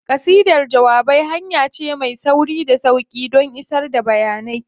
Ƙasidar jawabai hanya ce mai sauri da sauƙi don isar da bayanai.